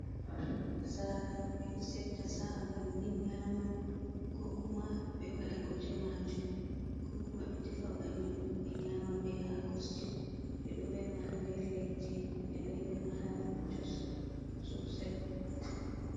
Dankali nasara, ɓe ɗo setta sa’a bannin nyama ko kuma be wada gote majum ko kuma ɓe defa bannin be nyama ɓe hako sitiwu. Ɓe doh remah ha der leddi beh ɗo rema ha jos sosai.